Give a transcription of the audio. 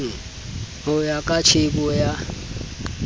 ho ya ka tjhebo ya